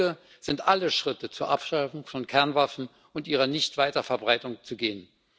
Heute sind alle Schritte zur Abschaffung von Kernwaffen und zu ihrer Nicht Weiterverbreitung zu gehen.